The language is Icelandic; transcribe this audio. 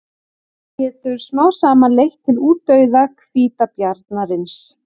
Þetta getur smám saman leitt til útdauða hvítabjarnarins.